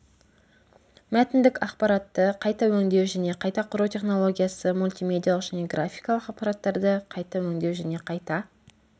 мәтіндік ақпаратты қайта өндеу және қайта құру технологиясы мультимедиалық және графикалық ақпараттарды қайта өндеу және қайта